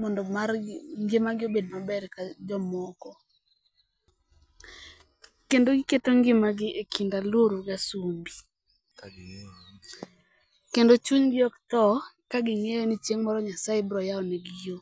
mondo margi ngima gi obed maber ka jomoko. Kendo giketo ngima gi e chuny alure gi asumbi. Kendo chunygi ok thoo ka ging'eyo ni chieng' moro Nyasaye biro yao ne gi yo.